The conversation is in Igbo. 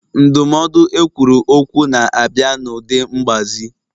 Ndụmọdụ ekwuru okwu na-abịa n'ụdị mgbazi.